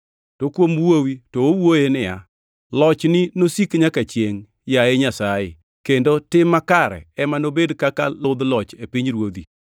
To kuom Wuowi to owuoye niya, “Lochni nosik nyaka chiengʼ, yaye Nyasaye, kendo tim makare ema nobed kaka ludh loch e pinyruodhi.